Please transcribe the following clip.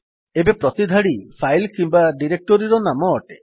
ଏବେ ପ୍ରତି ଧାଡି ଫାଇଲ୍ କିମ୍ୱା ଡିରେକ୍ଟୋରିର ନାମ ଅଟେ